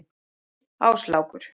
Áslákur